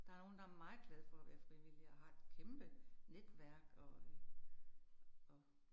Der nogle, der meget glade for at være frivillige, og har et kæmpe netværk og øh og